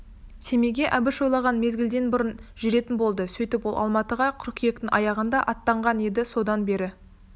семейге әбіш ойлаған мезгілден бұрын жүретін болды сөйтіп ол алматыға қыркүйектің аяғында аттанған еді содан бері